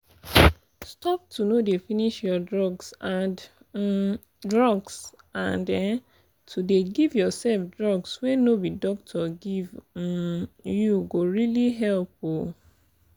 stop to no dey finish your drugs and um drugs and um to dey give yourself drugs wey no be doctor give um you go really help. um